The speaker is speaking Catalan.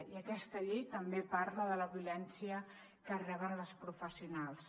i aquesta llei també parla de la violència que reben les professionals